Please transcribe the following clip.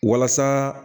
Walasa